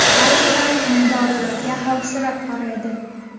Ba’zilar emdorilarga xavfsirab qaraydi.